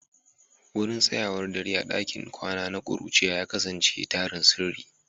Wurin tsayawar dare a cikin ɗakin kwana na kuruciya ya kasance tarin sirri.